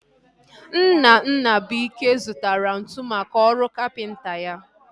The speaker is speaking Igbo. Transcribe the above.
Nna Nnabuike zụtara ntụ maka ọrụ kapịnta ya